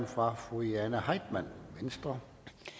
fra fru jane heitmann venstre